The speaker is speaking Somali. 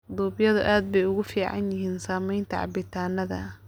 Duubyadu aad bay ugu fiican yihiin samaynta cabitaannada.